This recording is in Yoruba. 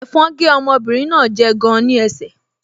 Ẹ̀fọn gé ọmọbìnrin náà jẹ gan-an ní ẹsẹ̀